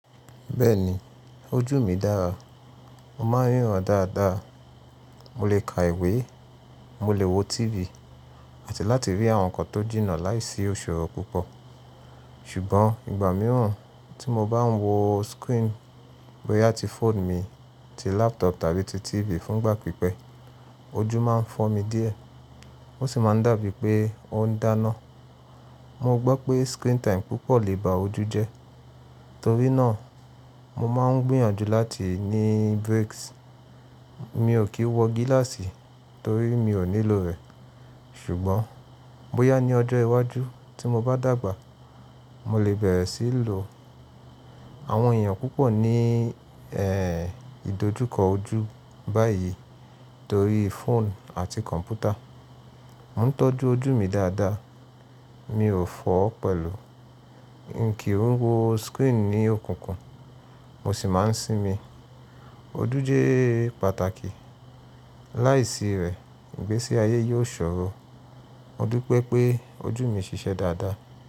Bẹ́ẹ̀ni, ojú mi dára. Mo máa ń ríran dáadáa, mo lè ka ìwé, mo lè wo TV àti láti rí àwọn nǹkan tó jìnnà láìsí iṣòrò púpọ̀. Ṣùgbọ́n ìgbà mìíràn tí mo bá ń wo screen bóyá ti phone mi ti laptop tàbí ti TV fún ìgbà pípẹ́, ojú máa ń fọ́ mi díẹ̀. Ó sì máa ń dàbí pé ó ń dáná. Mo gbọ́ pé screen time púpọ̀ lè ba ojú jẹ́. Torí náà, mo máa ń gbìyànjú láti ní breaks. Mi ò kí ń wọ gíláàsì torí mi ò nílò rẹ̀, ṣùgbọ́n bóyá ní ọjọ́ iwájú tí mo bá dàgbà, mo lè bẹ̀rẹ̀ sí í lò. Àwọn èèyàn púpọ̀ ní eh ìdojúkọ ojú báyìí torí phone àti kọ̀m̀pútà. Mo ń tọ́jú ojú mi dáadáa. Mi ò fọ̀ ọ́ pẹ̀lú. N kì ń wo screen ní òkùnkùn, mo sì máa ń sinmi. Ojú jẹ́ pàtàkì. Láìsí rẹ̀, ìgbésí ayé yóò ṣòro. Mo dúpẹ́ pé ojú mi ṣiṣẹ́ dáadáa.